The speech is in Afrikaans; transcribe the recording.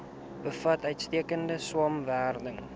bevat uitstekende swamwerende